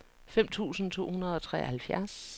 fem tusind to hundrede og treoghalvfjerds